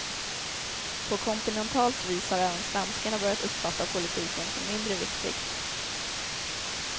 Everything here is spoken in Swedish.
På kontinentalt vis har även svenskarna börjat uppfatta politiken som mindre viktig.